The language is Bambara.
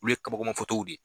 Olu ye kabakoma fotow de ye